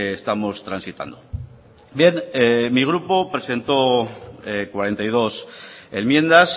estamos transitando bien mi grupo presentó cuarenta y dos enmiendas